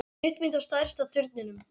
Stuttmynd á stærsta turninum